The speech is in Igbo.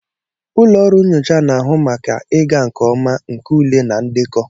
Ụlọ ọrụ nyocha na-ahụ maka ịga nke ọma nke ule na ndekọ.